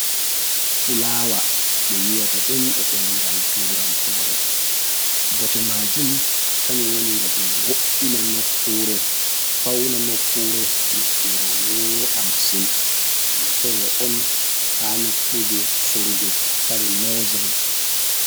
Fulawa ɓe wi'ata ɗum e demngal turankore, bote majum kanjum woni ngam ɗum wo’ina nokkure, fawna nokkure, nokkure wooɗa masin ɗum bo sorre on ha nokkuje sorrugo kare nojiri.